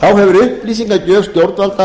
þá hefur upplýsingagjöf stjórnvalda